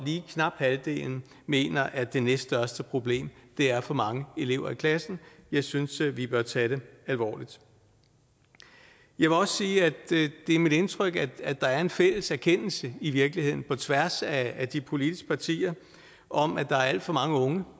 lige knap halvdelen mener at det næststørste problem er for mange elever i klassen det synes jeg vi bør tage alvorligt jeg vil også sige at det er mit indtryk at der er en fælles erkendelse i virkeligheden på tværs af de politiske partier om at der er alt for mange unge